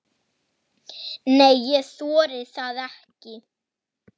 Nei, ég þori það ekki.